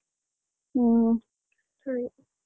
ಹ್ಮ ಸರಿ.